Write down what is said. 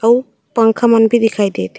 अउ पंखा मन भी दिखाई देत हे।